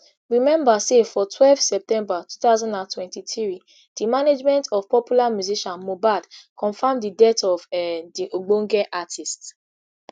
rememba say for twelve september two thousand and twenty-three di management of popular musician mohbad confam di death of um di ogbonge artiste